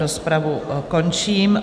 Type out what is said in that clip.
Rozpravu končím.